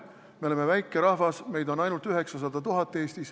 Me oleme väike rahvas, meid on Eestis ainult 900 000.